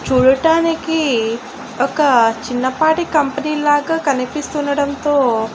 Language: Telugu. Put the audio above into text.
చూడటానికి ఒక చిన్నపాటి కంపెనీ లాగా కనిపిస్తుండడంతో--